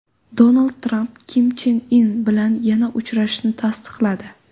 Donald Tramp Kim Chen In bilan yana uchrashishini tasdiqladi.